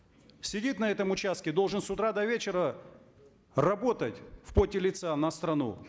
сидит на этом участке должен с утра до вечера работать в поте лица на страну